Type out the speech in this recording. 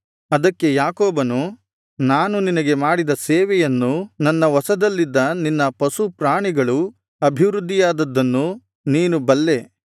ಅದಕ್ಕೆ ಯಾಕೋಬನು ನಾನು ನಿನಗೆ ಮಾಡಿದ ಸೇವೆಯನ್ನೂ ನನ್ನ ವಶದಲ್ಲಿದ್ದ ನಿನ್ನ ಪಶುಪ್ರಾಣಿಗಳು ಅಭಿವೃದ್ದಿಯಾದುದ್ದನ್ನೂ ನೀನು ಬಲ್ಲೇ